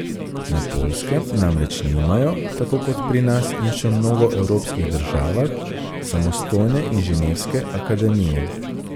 Na Poljskem namreč nimajo, tako kot pri nas in še v mnogo evropskih državah, samostojne inženirske akademije.